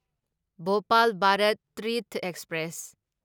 Bhopal Bharat Tirth express